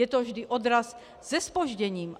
Je to vždy odraz se zpožděním.